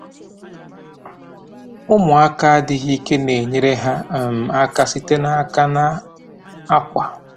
Ụmụaka adịghị ike na-enyere ha um aka site n’aka na akwa.